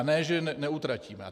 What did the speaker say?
A ne že neutratíme.